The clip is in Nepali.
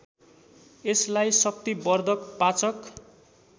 यसलाई शक्तिवर्धक पाचक